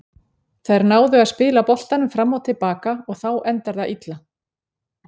Þær náðu að spila boltanum fram og til baka og þá endar það illa.